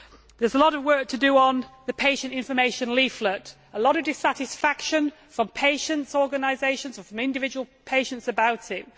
There is a lot of work to do on the patient information leaflet, with a lot of dissatisfaction from patients' organisations and from individual patients about it.